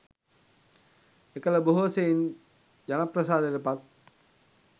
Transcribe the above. එකළ බොහෝ සෙයින් ජනප්‍රසාදයට පත්